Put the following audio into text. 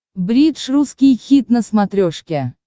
бридж русский хит на смотрешке